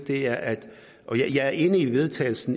vedtagelse